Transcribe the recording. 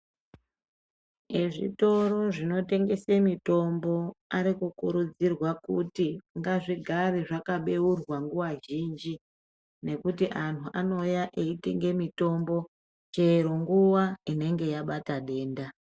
Ezvitoro zvinotengesa mitombo arikukurudzirwa kuti ngazvigare zvakabeurwa nguva zhinji nekuti anhu anouya eitenge mitombo chero nguva inenge yabata denda .